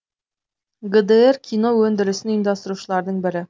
гдр кино өндірісін ұйымдастырушылардың бірі